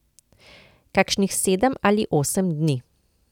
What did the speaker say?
Kakšnih sedem ali osem dni.